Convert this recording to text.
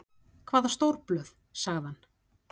Hvaða stórblöð? sagði hann.